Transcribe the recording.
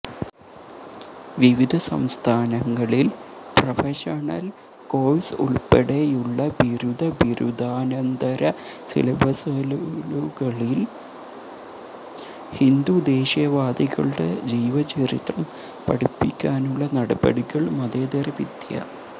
വിവിധ സംസ്ഥാനങ്ങളിൽ professional course ഉൾപ്പെടെയുള്ള ബിരുദ ബിരുദാനന്തര സിലബസലുകളിൽ ഹിന്ദു ദേശീയവാദികളുടെ ജീവചരിത്രം പഠിപ്പിക്കാനുള്ള നടപടികൾ മതേതര വിദ്യാ